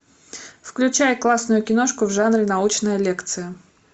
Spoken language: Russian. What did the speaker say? включай классную киношку в жанре научная лекция